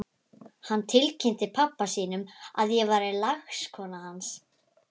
Hann tilkynnti pabba sínum að ég væri lagskona hans!